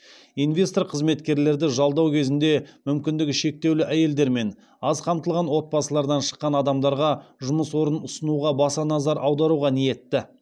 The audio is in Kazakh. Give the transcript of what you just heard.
инвестор қызметкерлерді жалдау кезінде мүмкіндігі шектеулі әйелдер мен аз қамтылған отбасылардан шыққан адамдарға жұмыс орын ұсынуға баса назар аударуға ниетті